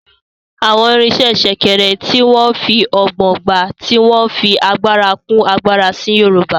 Àwọn irinṣẹ́ Sèkèrè, tí wọ́n fi ọgbọ́n gbá, tí wọ́n fi agbára kún agbára sí Yorùbá